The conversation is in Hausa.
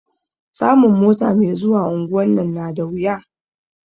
Samun mota me zuwa unguwan nan na da wuya